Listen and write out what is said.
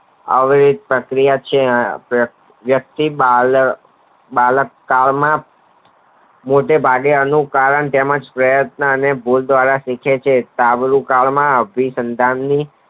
આવી પ્રક્રિયા છે વ્યક્તિ બાયલો બાળક કલ માં મોટે ભાગે એનું કારણ તેમજ પ્રયત્ન અને ભોગ દ્વારા સૂચવે છે આ બધી કલ માં અભીસાતા ની